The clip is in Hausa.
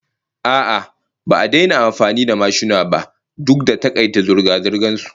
A'a, ba a daina amfani da mashina ba duk da takaita zirga-zirgan su